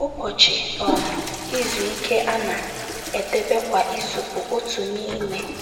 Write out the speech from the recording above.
Ụbọchị um Izu Ike a na - edebe kwa izu bụ otu n'ime...